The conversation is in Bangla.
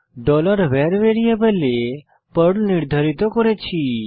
var ভ্যারিয়েবলে পার্ল নির্ধারিত করেছি